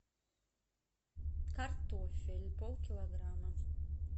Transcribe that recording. картофель пол килограмма